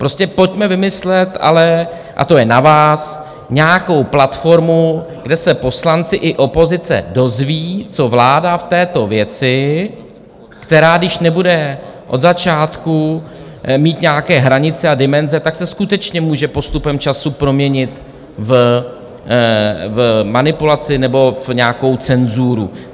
Prostě pojďme vymyslet ale - a to je na vás - nějakou platformu, kde se poslanci i opozice dozvědí, co vláda v této věci, která když nebude od začátku mít nějaké hranice a dimenze, tak se skutečně může postupem času proměnit v manipulaci nebo v nějakou cenzuru.